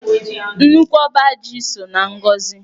Nnukwu ọba ji so na ngọzị.